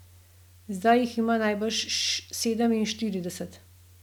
Zdaj jih ima najbrž sedeminštirideset.